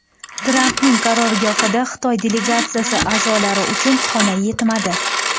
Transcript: Trampning qarorgohida Xitoy delegatsiyasi a’zolari uchun xona yetmadi.